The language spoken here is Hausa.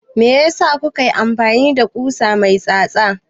Meyasa kuka yi amfani da ƙusa mai tsatsa?